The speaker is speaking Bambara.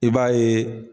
I b'a ye